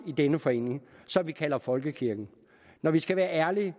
i denne forening som vi kalder folkekirken når vi skal være ærlige